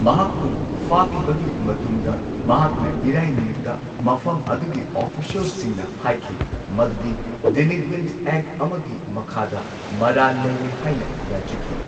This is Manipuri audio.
ꯃꯍꯥꯛꯄꯨ ꯐꯥꯈꯤꯕꯒꯤ ꯃꯇꯨꯡꯗ ꯃꯍꯥꯛꯅ ꯏꯔꯥꯏ ꯅꯨꯃꯤꯠꯇ ꯃꯐꯝ ꯑꯗꯨꯒꯤ ꯑꯣꯐꯤꯁ꯭ꯌꯦꯜꯁꯤꯡꯅ ꯍꯥꯏꯈꯤ ꯃꯗꯨꯗꯤ ꯗꯤꯂꯤꯟꯀ꯭ꯋꯦꯟ ꯑꯦꯛ ꯑꯃꯒꯤ ꯃꯈꯥꯗ ꯃꯔꯥꯜ ꯂꯩꯔꯦ ꯍꯥꯏꯅ ꯌꯥꯖꯈꯤ꯫